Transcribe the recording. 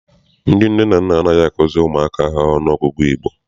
Ndị nne na nna anaghị azukiri ụmụ ọnụọgụgụ Igbo.